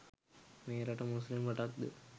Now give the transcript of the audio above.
මේ රට මුස්ලිම් රටක්ද?